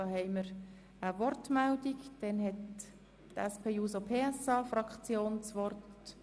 – Herr Graf hat für die SP-JUSO-PSA-Fraktion das Wort.